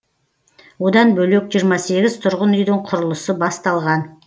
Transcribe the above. одан бөлек жиырма сегіз тұрғын үйдің құрылысы басталған